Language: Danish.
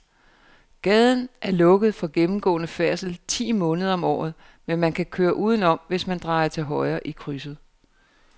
Gaden er lukket for gennemgående færdsel ti måneder om året, men man kan køre udenom, hvis man drejer til højre i krydset.